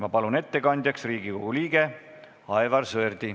Ma palun ettekandjaks Riigikogu liikme Aivar Sõerdi.